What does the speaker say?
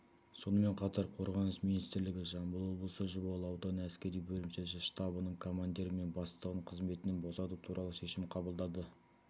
сонымен қатар қорғаныс министрлігі жамбыл облысы жуалы ауданы әскери бөлімшесі штабының командирі мен бастығын қызметінен босату туралы шешім қабылдады